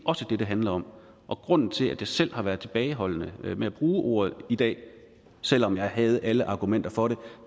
også det det handler om og grunden til at jeg selv har været tilbageholdende med at bruge ordet i dag selv om jeg havde alle argumenter for det